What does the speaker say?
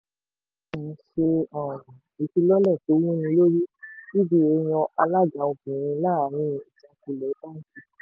mtn ṣe um ìfilọ́lẹ̀ tó wúnilórí uba yan alága obìnrin láàrin ìjákulẹ̀ báńkì.